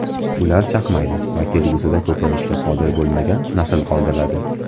Ular chaqmaydi va kelgusida ko‘payishga qodir bo‘lmagan nasl qoldiradi.